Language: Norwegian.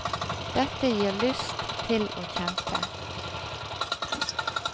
Dette gir lyst til å kjempe.